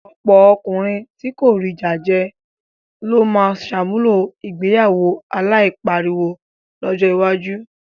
Ọ̀pọ̀ ọkùnrin tí kò rí jájẹ ló máa ṣàmúlò ìgbéyàwó aláìláriwo lọ́jọ́ iwájú.